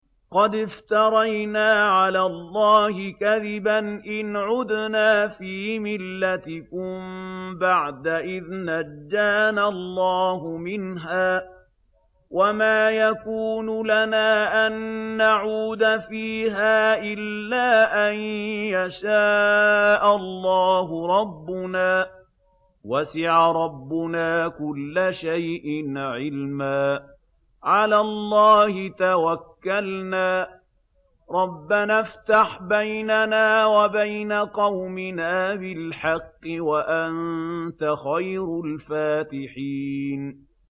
قَدِ افْتَرَيْنَا عَلَى اللَّهِ كَذِبًا إِنْ عُدْنَا فِي مِلَّتِكُم بَعْدَ إِذْ نَجَّانَا اللَّهُ مِنْهَا ۚ وَمَا يَكُونُ لَنَا أَن نَّعُودَ فِيهَا إِلَّا أَن يَشَاءَ اللَّهُ رَبُّنَا ۚ وَسِعَ رَبُّنَا كُلَّ شَيْءٍ عِلْمًا ۚ عَلَى اللَّهِ تَوَكَّلْنَا ۚ رَبَّنَا افْتَحْ بَيْنَنَا وَبَيْنَ قَوْمِنَا بِالْحَقِّ وَأَنتَ خَيْرُ الْفَاتِحِينَ